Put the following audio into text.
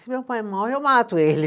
Se meu pai morre, eu mato ele.